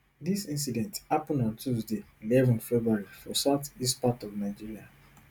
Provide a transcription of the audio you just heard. dis incident happun on tuesday eleven february for south east part of nigeria